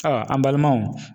Aa ,an balimaw